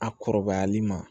A kɔrɔbayali ma